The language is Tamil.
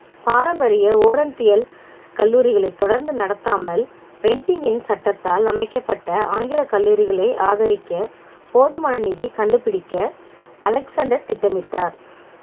பாரம்பரிய கல்லூரிகளை தொடர்ந்து நடத்தாமல் இன் சட்டத்தால் அமைக்கப்பட்ட ஆங்கில கல்லூரிகளை ஆதரிக்க போதுமான நிதி கண்டுபிடிக்க அலெக்சாண்டர் திட்டமிட்டார்